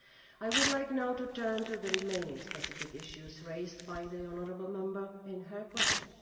I would like now to turn to the remaining specific issues raised by the honourable Member in her question.